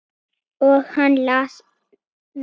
Og hann las mikið.